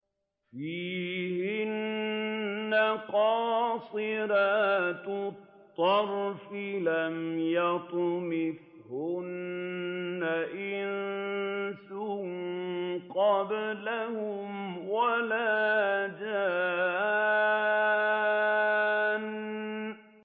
فِيهِنَّ قَاصِرَاتُ الطَّرْفِ لَمْ يَطْمِثْهُنَّ إِنسٌ قَبْلَهُمْ وَلَا جَانٌّ